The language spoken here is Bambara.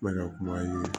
N bɛ ka kuma ye